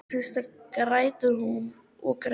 Í fyrstu grætur hún og grætur.